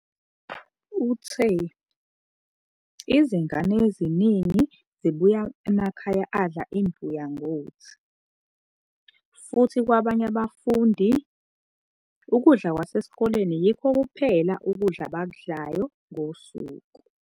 Uthe, "Izingane eziningi zibuya emakhaya adla imbuya ngothi, futhi kwabanye abafundi, ukudla kwasesikoleni yikho kuphela ukudla abakudlayo ngosuku.